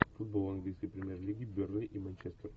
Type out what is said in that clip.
футбол английской премьер лиги бернли и манчестер